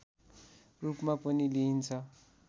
रूपमा पनि लिइन्छ